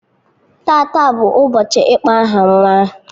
Tata bụ ụbọchị ịkpọ aha nwa ahụ